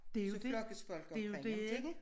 Det jo dét det jo det ikke?